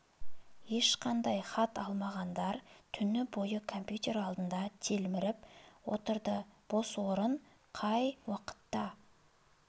ешқандай те хат та алмағандар түні бойы компьютер алдында телміріп отырды бос орын қай уақытта